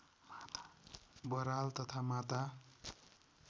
बराल तथा माता